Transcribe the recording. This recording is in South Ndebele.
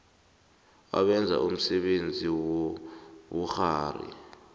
abenza umsebenzi wobukghwari